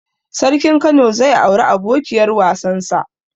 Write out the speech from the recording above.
Sarkin kano zai auri abokiyar wasan sa